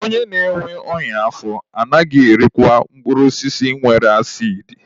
Onye na-enwe ọnya afọ anaghị erikwa mkpụrụ osisi nwere asidi.